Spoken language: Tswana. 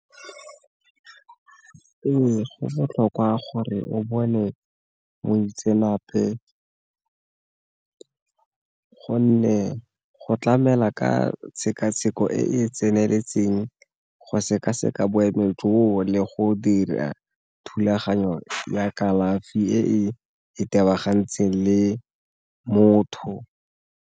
Ee, go botlhokwa gore o bone moitseanape gonne go tlamela ka tshekatsheko e e tseneletseng, go seka-seka joo le go dira thulaganyo ya kalafi e e itebagantseng le motho.